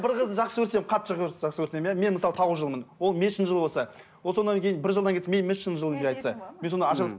бір қызды жақсы көрсем қатты жақсы көрсем иә мен мысалы тауық жылғымын ол мешін жыл болса ол содан кейін бір жылдан кейін мен мешін жылымын деп айтса мен сонда